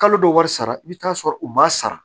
Kalo dɔ wari sara i bɛ taa sɔrɔ u m'a sara